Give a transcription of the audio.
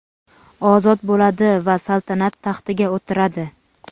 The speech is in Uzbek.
ozod bo‘ladi va saltanat taxtiga o‘tiradi.